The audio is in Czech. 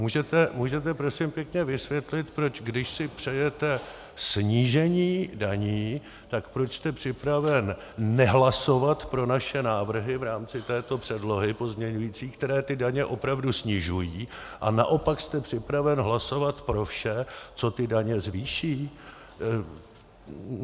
Můžete prosím pěkně vysvětlit, proč když si přejete snížení daní, tak proč jste připraven nehlasovat pro naše návrhy v rámci této předlohy, pozměňující, které ty daně opravdu snižují, a naopak jste připraven hlasovat pro vše, co ty daně zvýší?